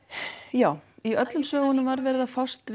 já í öllum sögunum var verið að fást